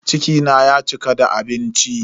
Ciki na ya cika da abinci.